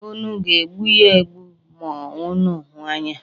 Unu ga-egbu ya egbu ma unu hụ ya?